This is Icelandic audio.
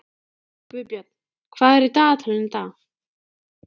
Gunnbjörn, hvað er í dagatalinu í dag?